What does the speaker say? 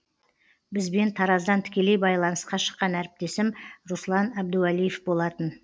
бізбен тараздан тікелей байланысқа шыққан әріптесім руслан әбдуалиев болатын